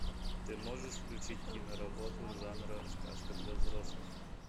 ты можешь включить киноработу жанра сказка для взрослых